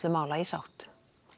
mála í sátt